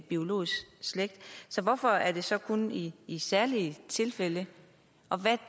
biologisk slægt så hvorfor er det så kun i i særlige tilfælde og hvad